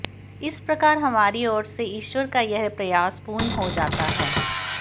इस प्रकार हमारी ओर से ईश्वर का यह प्रयास पूर्ण हो जाता है